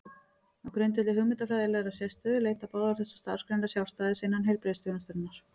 Á grundvelli hugmyndafræðilegrar sérstöðu leita báðar þessar starfsgreinar sjálfstæðis innan heilbrigðisþjónustunnar.